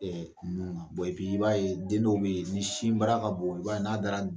nun na i ye den dɔw bɛ ye ni sinbara ka bon i b'a ye n'a dara